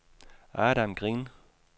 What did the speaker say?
Adam Green